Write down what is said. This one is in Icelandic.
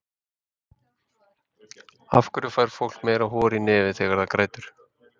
Af hverju fær fólk meira hor í nefið þegar það grætur?